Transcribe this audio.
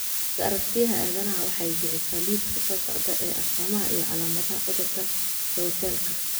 Buugga Aragtiyaha Aadanahawaxay bixisaa liiska soo socda ee astamaha iyo calaamadaha cudurka Keutelka.